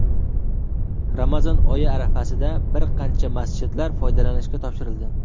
Ramazon oyi arafasida bir qancha masjidlar foydalanishga topshirildi.